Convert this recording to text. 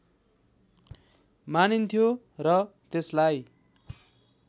मानिन्थ्यो र त्यसलाई